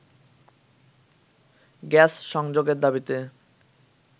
gas সংযোগের দাবিতে